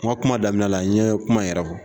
N ka kuma damina la, n ye kuma yɛrɛ fɔ